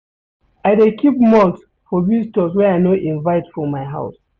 I dey keep malt for visitors wey I no invite for my house.